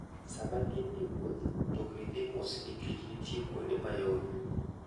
Sama gin e wuoth, mtokni dhi mos nikech nitie kuonde ma yoro.